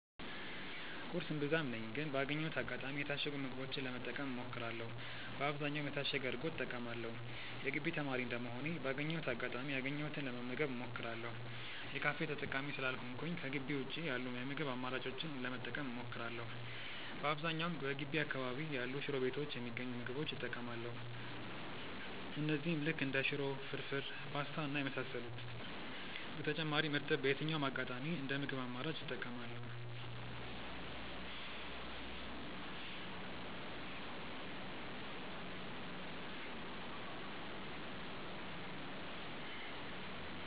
ቁርስ እምብዛም ነኝ ግን ባገኘሁት አጋጣሚ የታሸጉ ምግቦችን ለመጠቀም እሞክራለው በአብዛኛውም የታሸገ እርጎ እጠቀማለው። የግቢ ተማሪ እንደመሆኔ ባገኘሁት አጋጣሚ ያገኘሁትን ለመመገብ እሞክራለው። የካፌ ተጠቃሚ ስላልሆንኩኝ ከጊቢ ውጪ ያሉ የምግብ አማራጮችን ለመጠቀም እሞክራለው። በአብዛኛውም በገቢ አካባቢ ያሉ ሽሮ ቤቶች የሚገኙ ምግቦች እጠቀማለው እነዚህም ልክ እንደ ሽሮ፣ ፍርፉር፣ ፖስታ እና የመሳሰሉት። በተጨማሪም እርጥብ በየትኛውም አጋጣሚ እንደ ምግብ አማራጭ እጠቀማለው።